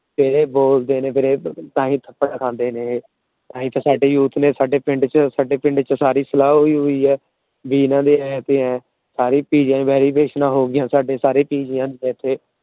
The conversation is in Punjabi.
ਤੇ ਇਹ ਬੋਲਦੇ ਨੇ ਤਾਹਿ ਥੱਪੜ ਖਾਂਦੇ ਨੇ ਇਹ। ਇੱਕ ਸਾਡੀ Youth ਨੇ ਪਿੰਡ ਚ ਸਾਡੀ ਸਲਾਹ ਹੋਇ ਹੋਇ ਏ। ਵੀ ਇਹਨਾਂ ਦੀਆ ਸਾਰੇ Pg ਦੀਆ Varification ਹੋ ਗਈਆਂ ਸਾਡੇ ਸਾਰੇ ਪੀ ਜੀਆ ਨੂੰ ਇੱਥੇ